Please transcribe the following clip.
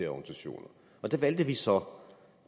organisationer der valgte vi så